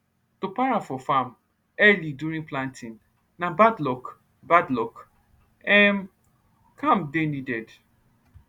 to para for farm early during planting na bad luck bad luck um calm dey needed